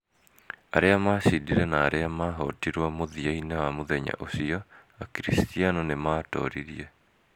Aria macindire na aliamahotirwo, mũthia-inĩ wa mũthenya ũcio, Akiricitiano nĩ maatooririe.